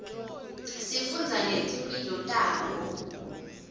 sifundza ngetimphilo tabo